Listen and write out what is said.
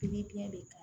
Pikiri biɲɛ de ka